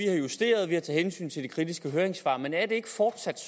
har justeret og taget hensyn til de kritiske høringssvar men er det ikke fortsat